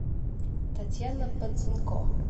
татьяна бацинко